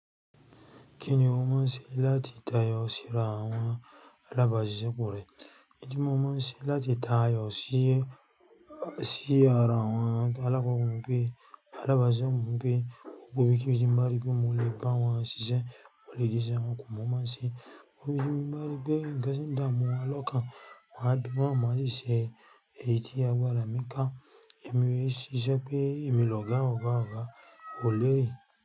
Kí ni o mọ̀ se láti tayọ sí ra awọn alábàáṣepọ̀ rẹ? N tí mo mọ̀ n se láti tayọ sí, sí ara awọn alábàáṣepọ̀ mi pé, alábàáṣepọ̀ mi wípé gbogbo ibi ki ti ń bá ri wípé mo lè bá wọn ṣiṣẹ́, mo lè din ìṣe wọn kù mo mọ̀ se. Ó fi yín bá mi rípé ńkan sin dáa mu wọn lọ́kàn. Wọ́n á bí wọn mọ́ ṣiṣẹ́, èyí tí a gbára mi ká. Ẹ̀mí é ṣiṣẹ́ pé ẹ̀mi lọ́gá ọ̀gá ọ̀gá, ko lérè.